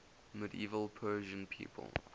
medieval persian people